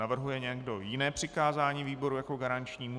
Navrhuje někdo jiné přikázání výboru jako garančnímu?